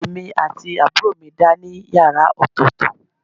Èmi àti àbúrò mi dá ní yàrá ọ̀tọ̀ọ̀tọ̀